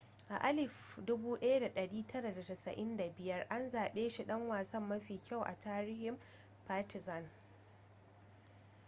a 1995 an zabe shi dan wasa mafi kyau a tarihin partizan